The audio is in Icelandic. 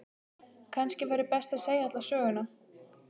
Kannski væri best að segja alla söguna.